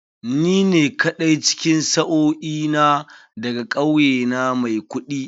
Ni ne kaɗai cikin sa'o'i na da ga kauye na mai kuɗi.